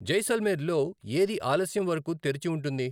జైసల్మేర్లో ఏది ఆలస్యంవరకు తెరిచి ఉంటుంది